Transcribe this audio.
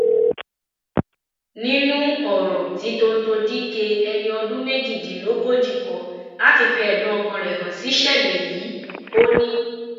nínú ọrọ tí tọńtò dikéh ẹni ọdún méjìdínlógójì kọ láti fi ẹdùn ọkàn rẹ hàn síṣẹlẹ yìí ò ní